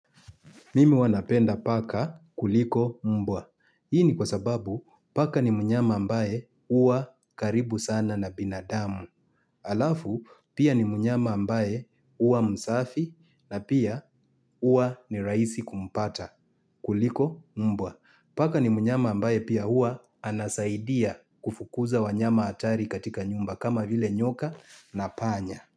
Mimi huwa napenda paka kuliko mbwa. Hii ni kwa sababu paka ni mnyama ambaye huwa karibu sana na binadamu. Alafu pia ni mnyama ambaye huwa msafi na pia huwa ni rahisi kumpata kuliko mbwa. Paka ni mnyama ambaye pia huwa anasaidia kufukuza wanyama hatari katika nyumba kama vile nyoka na panya.